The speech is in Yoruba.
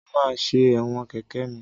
Mo máa ṣe ẹ̀wọ̀n kẹ̀kẹ́ mi.